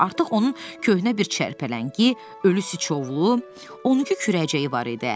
Artıq onun köhnə bir çərpələngi, ölü siçovlu, 12 kürəcəyi var idi.